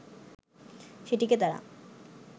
সেটিকে তারা